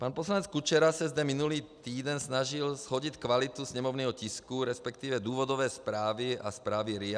Pan poslanec Kučera se zde minulý týden snažil shodit kvalitu sněmovního tisku, respektive důvodové zprávy a zprávy RIA.